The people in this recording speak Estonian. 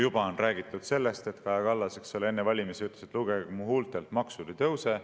Juba on räägitud sellest, et Kaja Kallas enne valimisi ütles, et lugege mu huultelt, maksud ei tõuse.